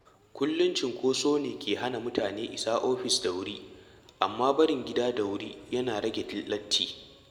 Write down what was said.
Kullum cunkoso ne ke hana mutane isa ofis da wuri, amma barin gida da wuri yana rage latti.